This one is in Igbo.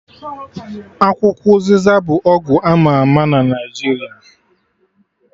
Akwukwo ụzịza bụ ọgwụ ama ama na Naijiria